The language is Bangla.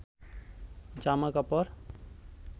জামা কাপড়